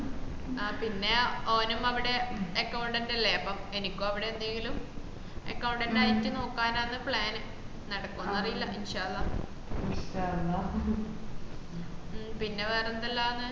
ആ പിന്ന ഓനും അവട accountant അല്ലെ അപ്പൊ എനക്കും അവട എന്തെങ്കിലും accountant ആയിട്ട് നോക്കാനാണ് plan നടക്കൊന്ന് അറീല മ്മ് പിന്ന വേറെന്താല്ലാന്ന്